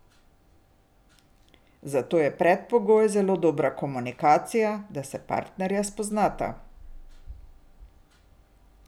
Za to pa je predpogoj zelo dobra komunikacija, da se partnerja spoznata.